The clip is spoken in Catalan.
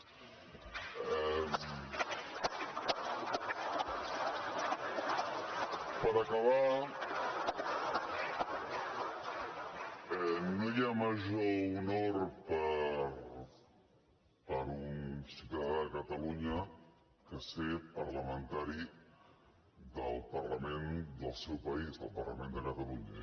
i per acabar no hi ha major honor per a un ciutadà de catalunya que ser parlamentari del parlament del seu país del parlament de catalunya